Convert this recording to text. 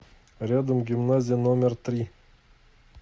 рядом гимназия номер три